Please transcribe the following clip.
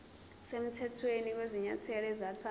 semthethweni kwezinyathelo ezathathwa